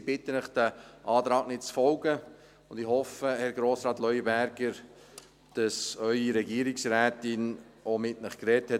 Ich bitte Sie, diesem Antrag nicht zu folgen, und ich hoffe, Herr Grossrat Leuenberger, dass Ihre Regierungsrätin mit Ihnen gesprochen hat.